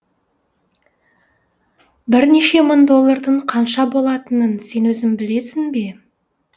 бірнеше мың доллардың қанша болатынын сен өзің білесің бе